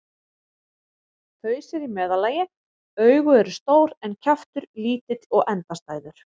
Haus er í meðallagi, augu eru stór en kjaftur lítill og endastæður.